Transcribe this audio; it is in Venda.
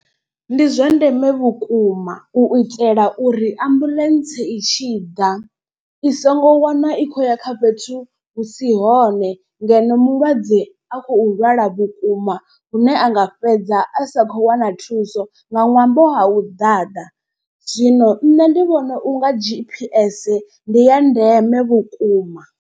Ndi zwa ndeme vhukuma u itela uri ambuḽentse i tshi ḓa i songo wana i khou ya kha fhethu hu si hone. Ngeno mulwadze a khou lwala vhukuma lune anga fhedza a sa khou wana thuso nga ṅwambo ha u ḓaḓa zwino nṋe ndi vhona unga G_P_S ndi ya ndeme vhukuma.